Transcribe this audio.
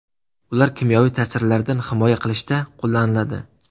Ular kimyoviy ta’sirlardan himoya qilishda qo‘llaniladi.